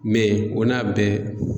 o n'a bɛɛ